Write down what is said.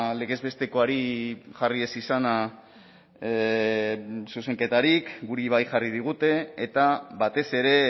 legez bestekoari jarri ez izana zuzenketarik guri bai jarri digute eta batez ere